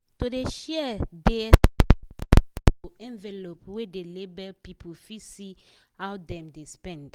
to dey share dey expenses to envelope wey dey label people fit see how dem dey spend.